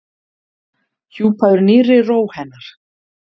Hjúpaður nýrri ró hennar.